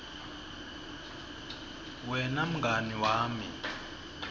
wena mngani wami